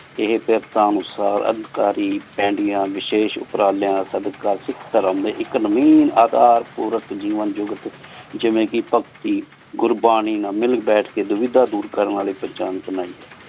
ਏਹੀ ਤੇਰ੍ਤਾਂ ਨੂ ਸ ਅਲ੍ਕ਼ਾਰੀ ਪੇੰਦਿਯਾਂ ਵਾਸ਼ੇਸ਼ ਉਪਰੰ ਲ੍ਯਾਂ ਸਦ ਕਾਸੀਕ ਧਰਮ ਇਕ ਨ੍ਯੂ ਅਧਾਰ ਪਾਰਕ ਜੇਵਾਂ ਜੁਗ ਜਿਵੇਂ ਕ ਭਗਤੀ ਗੁਰਬਾਣੀ ਨਾਲ ਮਿਲ ਬੇਤਹ ਕਹ ਦੁਵਿ ਦਾ ਦੂਰ ਕਰਨ ਪੇਹ੍ਚਾਨ ਬਣਾਈ ਹੈ